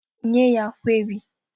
Nye ya kwerị!